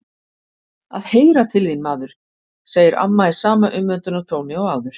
Að heyra til þín, maður, segir amma í sama umvöndunartóni og áður.